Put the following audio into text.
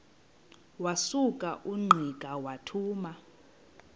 wasuka ungqika wathuma